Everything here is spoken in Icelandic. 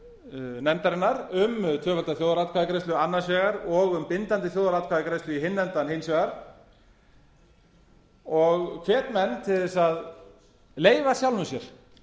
nefndarinnar um tvöfalda þjóðaratkvæðagreiðslu annars vegar og um bindandi þjóðaratkvæðagreiðslu í hinn endann hins vegar og hvet menn til að leyfa sjálfum sér